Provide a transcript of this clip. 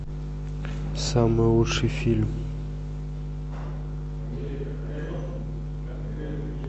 самый лучший фильм